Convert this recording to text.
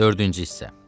Dördüncü hissə.